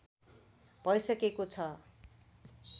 भइसकेको छ